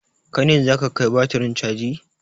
Kai ne za ka kai batirin caji?